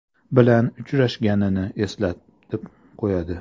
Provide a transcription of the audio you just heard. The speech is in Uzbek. bilan uchrashganini eslatib qo‘yadi.